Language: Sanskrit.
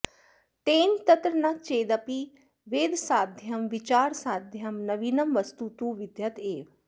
तेन तत्र न चेदपि वेधसाध्यं विचारसाध्यं नवीनं वस्तु तु विद्यत एव